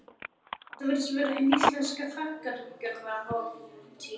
Þetta virðist vera hin íslenska þakkargjörðarhátíð.